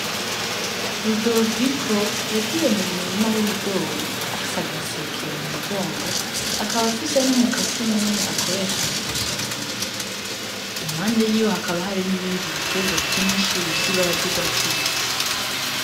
Rudoviko yagiye mu murima w'ibigori afise agaseke mu mugongo akaba afise n'umukasi munini akoresha mu gusoroma, impande yiwe hakaba hari n’ibindi biterwa vyinshi bifise ibara ry'urwatsi rubisi.